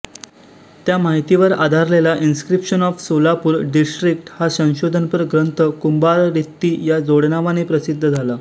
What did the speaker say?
त्या माहितीवर आधारलेला इन्स्क्रिप्शन्स ऑफ सोलापूर डिस्ट्रिक्ट हा संशोधनपर ग्रंथ कुंभाररित्ती या जोडनावाने प्रसिद्ध झाला